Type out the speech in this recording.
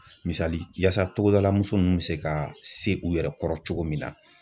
Misali yasa togodalamuso nun be se ka se u yɛrɛ kɔrɔ cogo min na.